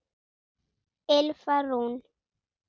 Ylfa Rún.